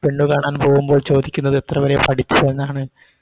പെണ്ണുകാണാൻ പോകുമ്പോൾ ചോദിക്കുന്നത് എത്ര വരെ പഠിച്ചു എന്നാണ്